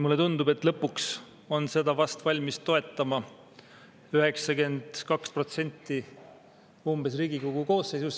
Mulle tundub, et lõpuks on seda ehk valmis toetama umbes 92% Riigikogu koosseisust.